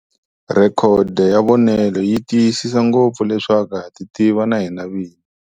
Rhekodo ya vonelo yi tiyisisa ngopfu leswaku ha titiva na hina vini.